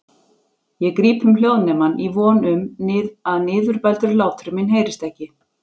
Ég gríp um hljóðnemann í von um að niðurbældur hlátur minn heyrist ekki.